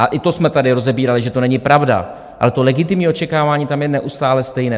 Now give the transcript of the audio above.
A i to jsme tady rozebírali, že to není pravda, ale to legitimní očekávání tam je neustále stejné.